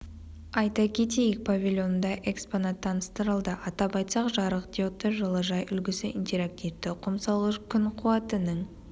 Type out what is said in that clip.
айта кетейік павильонында экспонат таныстырылды атап айтсақ жарық диодты жылыжай үлгісі интерактивті құм салғыш күн қуатының